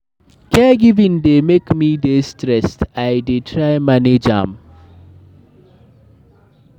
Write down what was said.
Caregiving dey make me dey stressed, I dey try manage am.